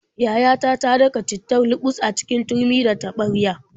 Yayata ta daka cittar luɓus a cikin turmi da taɓarya.